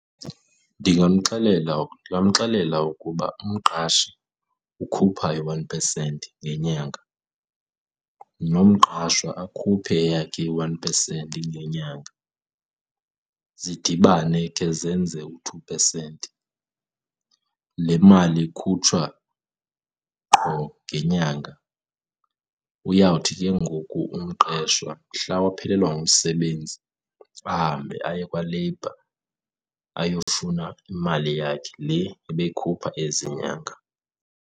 Ndingamxelela ukuba umqashi ukhupha i-one percent ngenyanga nomqashwa akhuphe eyakhe i-one percent ngenyanga zidibane ke zenze u-two percent. Le mali ikhutshwa qho ngenyanga. Uyawuthi ke ngoku umqeshwa mhla waphelelwa ngumsebenzi ahambe aye kwa-labour ayofuna imali yakhe le ebeyikhupha ezi nyanga.